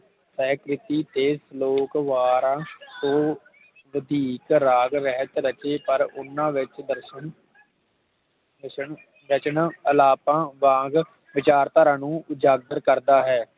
ਤੈਅ ਕੀਤੀ ਤੇ ਸਲੋਕ ਵਾਰਾਂ ਤੋਂ ਵਧੀਕ ਰਾਗ ਰਹਿਤ ਰਚੇ ਪਰ ਓਹਨਾ ਵਿਚ ਦਰਸ਼ਨ ਹੁਸਨ ਰਚਣ ਹਾਲਾਤਾਂ ਵਿਚਾਰ ਧਾਰਾ ਨੂੰ ਉਜਾਗਰ ਕਰਦਾ ਹੈ